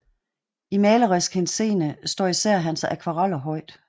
I malerisk henseende står især hans akvareller højt